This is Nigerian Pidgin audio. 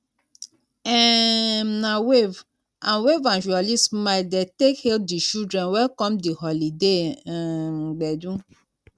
um na wave and wave and jooly smile dey take hal di children wey come di holiday um gbedu